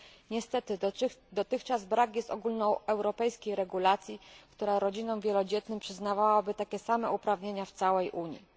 Niestety dotychczas brak jest ogólnoeuropejskiej regulacji, która rodzinom wielodzietnym przyznawałaby takie same uprawnienia w całej Unii.